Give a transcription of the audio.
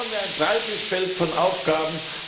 Da haben wir ein breites Feld von Aufgaben.